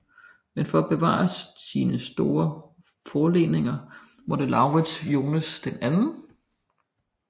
Men for at bevare sine store forleninger måtte Laurids Jonsen den 2